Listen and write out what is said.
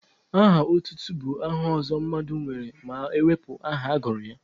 Aha otutu bụ aha ọzọ mmadụ nwere ma ewepụ aha agụrụ ya.